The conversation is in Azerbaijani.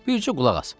Bircə qulaq as.